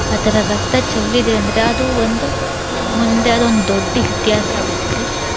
ಆ ತರ ರಕ್ತ ಚೆಲ್ಲಿದೆ ಅಂದ್ರೆ ಅದೂ ಒಂದು ಮುಂದೆ ಅದೊಂದ್ ದೊಡ್ಡ್ ಇತಿಹಾಸ ಆಗುತ್ತೆ.